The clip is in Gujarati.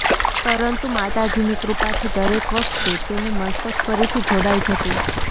પરંતુ માતાજીની કૃપાથી દરેક વખતે તેનું મસ્તક ફરીથી જોડાઇ જતું